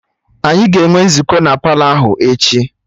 Anyị ga-enwe nzukọ na Palọ ahụ echi